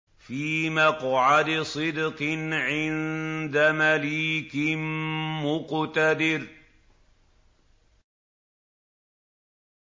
فِي مَقْعَدِ صِدْقٍ عِندَ مَلِيكٍ مُّقْتَدِرٍ